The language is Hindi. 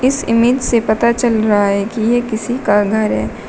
इस इमेज से पता चल रहा है कि यह किसी का घर है।